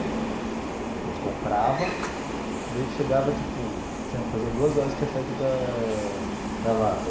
A gente comprava, o leite chegava tipo, tinha fazia duas horas que tinha saído da da vaca.